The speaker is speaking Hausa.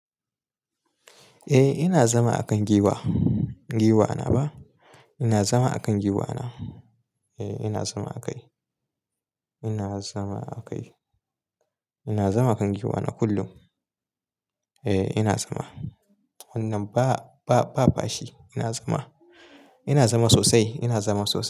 Eh ina zama a kan giwa, giwa na wa. Ina zama a kan giwa na. Eh ina zama a kai. Ina zama a kai. Ina zama a kan giwa na kullum. Eh ina zama. Wannan ba, ba, ba fashi, ina zama. Ina zama sosai. Ina zama sosai.